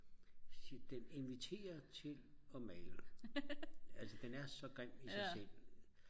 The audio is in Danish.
så siger den inviterer til at male altså den er så grim i sig selv